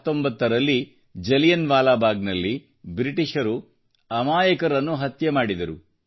1919ರಲ್ಲಿ ಜಲಿಯನ್ ವಾಲಾಬಾಗ್ನಲ್ಲಿ ಬ್ರಿಟಿಷರು ಅಮಾಯಕರನ್ನು ಹತ್ಯೆ ಮಾಡಿದರು